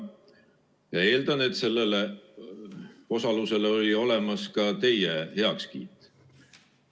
Ma eeldan, et sellel osalusel oli olemas ka teie heakskiit.